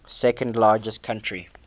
second largest country